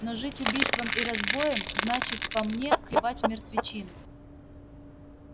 но жить убийством и разбоем значит по мне клевать мертвечину